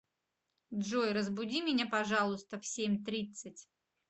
джой разбуди меня пожалуйста в семь тридцать